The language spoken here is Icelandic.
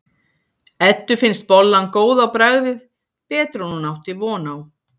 Eddu finnst bollan góð á bragðið, betri en hún átti von á.